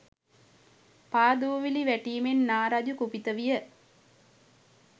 පා දූවිලි වැටීමෙන් නා රජු කුපිත විය.